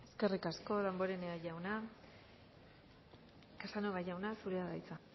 eskerrik asko damborenea jauna casanova jauna zurea da hitza